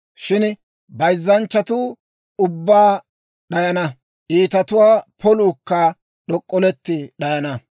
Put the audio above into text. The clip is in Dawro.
Shin bayzzanchchatuu ubbaa d'ayana; iitatuwaa poluukka d'ok'olletti d'ayana.